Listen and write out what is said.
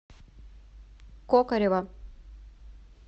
кокарева